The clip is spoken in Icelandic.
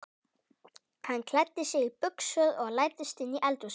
Hann klæddi sig í buxur og læddist inn í eldhúsið.